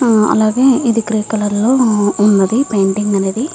అలాగే ఇది grey colour లో వున్నది పెయింటింగ్ అనేది.